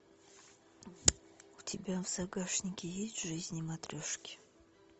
у тебя в загашнике есть жизни матрешки